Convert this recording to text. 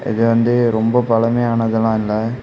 இது வந்து ரொம்ப பழமையானதுலா இல்ல.